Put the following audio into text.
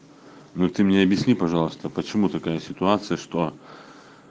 ну ты мне объясни пожалуйста почему такая ситуация что